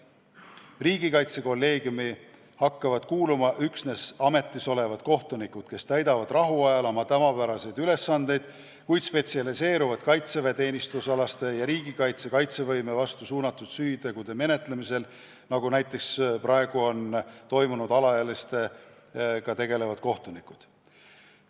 Riigikaitsekolleegiumi hakkavad kuuluma üksnes ametis olevad kohtunikud, kes rahuajal täidavad oma tavapäraseid ülesandeid, kuid spetsialiseeruvad kaitseväeteenistusalaste ja riigi kaitsevõime vastu suunatud süütegude menetlemisele, nagu praegu on näiteks alaealistega tegelevad kohtunikud.